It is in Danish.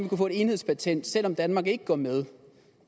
kunne få et enhedspatent selv om danmark ikke går med